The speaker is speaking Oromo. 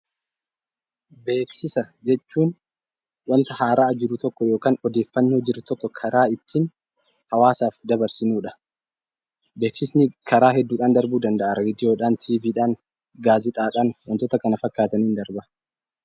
Beeksisa jechuun wanta haaraa jiru tokko yookiin odeeffannoo jiru karaa ittiin hawwaasaaf dabarsinuudha. Beeksisni karaa hedduudhaan darbuu danda'a. Karaa Raadiyoo, Televiziyoonaan, gaazexaadhaan wantoota kana fakkaataniin darba.